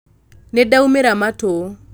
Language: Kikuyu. nĩ ndaũmĩra matũ